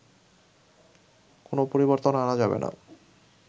কোনো পরিবর্তন আনা যাবে না